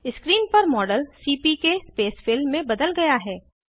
screen पर model CPK spacefill में बदल गया है